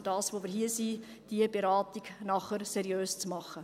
Dafür sind wir hier: diese Beratung nachher seriös zu machen.